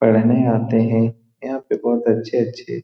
पढ़ने आते है यहाँ पे बहोत अच्छे-अच्छे --